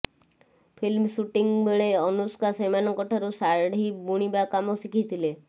film shooting ବେଳେ ଅନୁଷ୍କା ସେମାନଙ୍କଠାରୁ ଶାଢ଼ି ବୁଣିବା କାମ ଶିଖିଥିଲେ